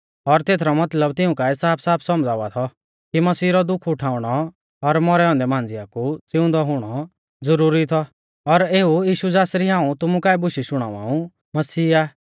और तेथरौ मतलब तिऊं काऐ साफसाफ सौमझ़ावा थौ कि मसीह रौ दुख उठाउणौ और मौरै औन्दै मांझ़िया कु ज़िउंदौ हुणौ ज़ुरुरी थौ और एऊ यीशु ज़ासरी हाऊं तुमु काऐ बुशै शुणावा ऊ मसीह आ